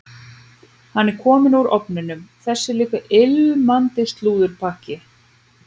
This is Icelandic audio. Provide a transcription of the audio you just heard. Hann er kominn úr ofninum, þessi líka ilmandi slúðurpakki.